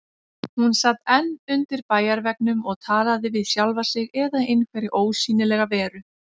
Hún sat enn undir bæjarveggnum og talaði við sjálfa sig eða einhverja ósýnilega veru.